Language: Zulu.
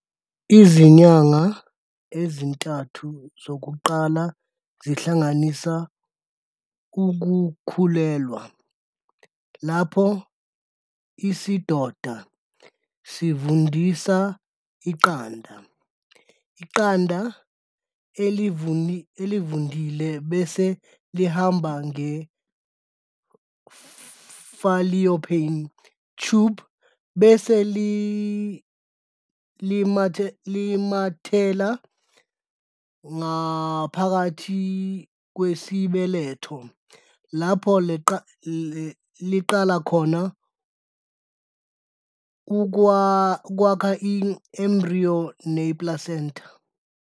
Izinyanga ezintathu zokuqala zihlanganisa ukukhulelwa, lapho isidoda sivundisa iqanda. iqanda elivundile bese lihamba nge-fallopian tube bese linamathela ngaphakathi kwesibeletho, lapho liqala khona ukwakha i-embriyo ne-i-placenta.